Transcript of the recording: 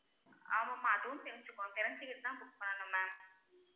ஆமாம்மா, அதுவும் தெரிஞ்சுக்குனும் தெரிஞ்சிக்கிட்டு தான் book பண்ணனும் ma'am